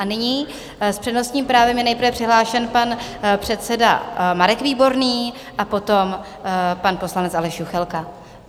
A nyní s přednostním právem je nejprve přihlášen pan předseda Marek Výborný a potom pan poslanec Aleš Juchelka.